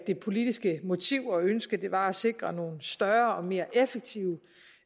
det politiske motiv og ønske var at sikre nogle større og mere effektive